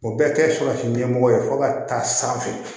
O bɛɛ kɛ so ɲɛmɔgɔ ye fo ka taa sanfɛ